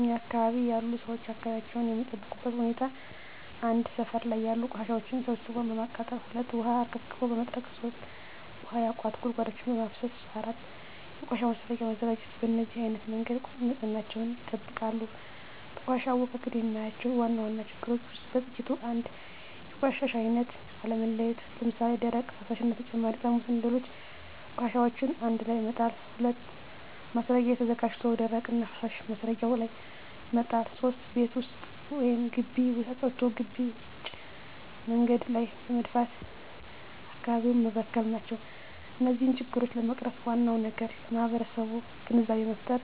እኛ አካባቢ ያሉ ሠዎች አካባቢያቸውን የሚጠብቁበት ሁኔታ 1. ሠፈር ላይ ያሉ ቆሻሻዎችን ሠብስቦ በማቃጠል 2. ውሀ አርከፍክፎ በመጥረግ 3. ውሀ ያቋቱ ጉድጓዶችን በማፋሠስ 4. የቆሻሻ ማስረጊያ በማዘጋጀት በነዚህ አይነት መንገድ ንፅህናቸውን ይጠብቃሉ። በቆሻሻ አወጋገድ የማያቸው ዋና ዋና ችግሮች ውስጥ በጥቂቱ 1. የቆሻሻ አይነት አለመለየት ለምሣሌ፦ ደረቅ፣ ፈሣሽ እና በተጨማሪ ጠርሙስና ሌሎች ቆሻሻዎችን አንድላይ መጣል። 2. ማስረጊያ ተዘጋጅቶ ደረቅና ፈሣሽ ማስረጊያው ላይ መጣል። 3. ቤት ወይም ግቢ አፅድቶ ግቢ ውጭ መንገድ ላይ በመድፋት አካባቢውን መበከል ናቸው። እነዚህን ችግሮች ለመቅረፍ ዋናው ነገር ለማህበረሠቡ ግንዛቤ መፍጠር፤